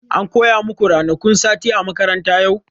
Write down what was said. An koya maku ranakun sati a makaranta yau?